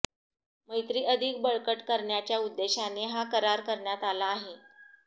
मैत्री अधिक बळकट करण्याच्या उद्देशाने हा करार करण्यात आला आहे